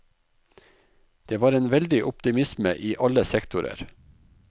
Det var en veldig optimisme i alle sektorer.